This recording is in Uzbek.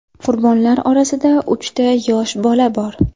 Qurbonlar orasida uchta yosh bola bor.